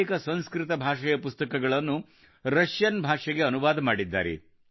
ಇವರು ಅನೇಕ ಸಂಸ್ಕೃತ ಭಾಷೆಯ ಪುಸ್ತಕಗಳನ್ನು ರಷ್ಯನ್ ಭಾಷೆಗೆ ಅನುವಾದ ಮಾಡಿದ್ದಾರೆ